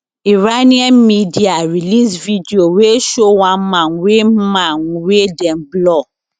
iranian media release video wey show one man wey man wey dem blur